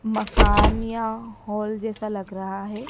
मकान या हॉल जैसा लग रहा है।